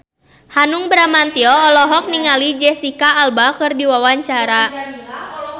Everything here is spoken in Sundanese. Hanung Bramantyo olohok ningali Jesicca Alba keur diwawancara